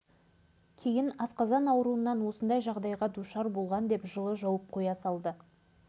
бұл аз дегендей осы мамыр бірге тұратын ағамның жасар қызы да аяқ астынан қайтыс болды